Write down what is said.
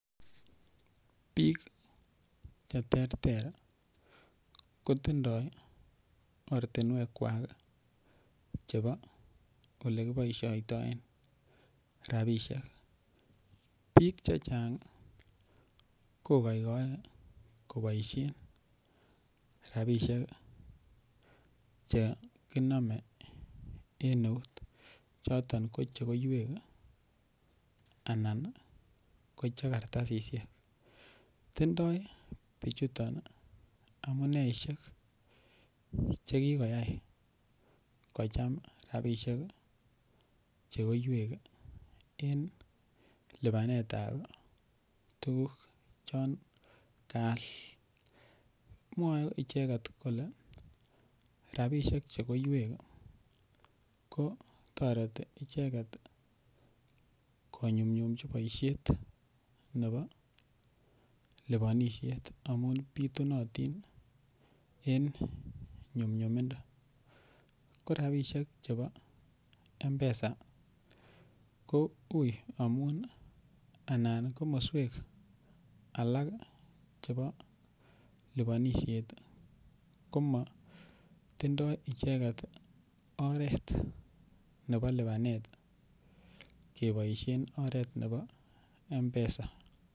Biik cheterter kotindoi ortinwekwak chebo olekiboisiotoen rabisiek, biik chechang kogoigoe koboisien rabisiek cheginome en eut, choton ko che koiwek anan ko kartasisiek, tindoi bichuton amuneisiek chekigoyai kocham rabinik chegoiwek en lipanet ab tuguk chon kaal, mwoe icheget kole rabisiek chegoiwek kotoreti icheger konyumnyumchin boisiet nebo liponisiet amun bitunotin en nyumnyumindo, ko rabisiek chebo Mpesa ko ui amun anan komoswek alak chebo liponisiet komotindo icheget oret nebo lipanet keboisien oret nebo Mpesa.